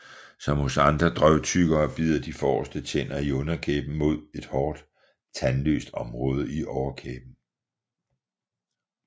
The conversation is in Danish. Som hos andre drøvtyggere bider de forreste tænder i underkæben mod et hårdt tandløst område i overkæben